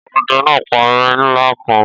Ọdẹ náà pa erin ńlá kan